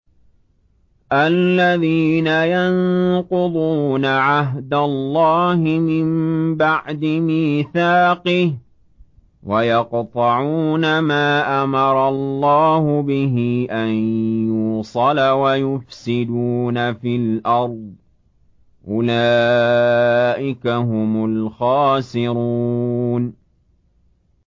الَّذِينَ يَنقُضُونَ عَهْدَ اللَّهِ مِن بَعْدِ مِيثَاقِهِ وَيَقْطَعُونَ مَا أَمَرَ اللَّهُ بِهِ أَن يُوصَلَ وَيُفْسِدُونَ فِي الْأَرْضِ ۚ أُولَٰئِكَ هُمُ الْخَاسِرُونَ